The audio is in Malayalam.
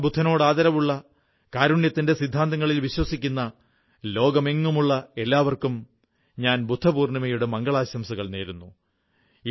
ഭഗവാൻ ബുദ്ധനോട് ആദരവുള്ള കാരുണ്യത്തിന്റെ സിദ്ധാന്തങ്ങളിൽ വിശ്വസിക്കുന്ന ലോകമെങ്ങുമുള്ള എല്ലാവർക്കും ഞാൻ ബുദ്ധപൂർണ്ണിമയുടെ മംഗളാശംസകൾ നേരുന്നു